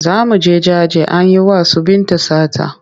Za mu je jaje an yi wa su Binta sata.